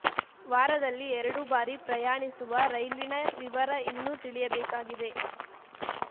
ವಾರದಲ್ಲಿ ಎರಡು ಬಾರಿ ಪ್ರಯಾಣಿಸುವ ರೈಲಿನ ವಿವರ ಇನ್ನು ತಿಳಿಯಬೇಕಾಗಿದೆ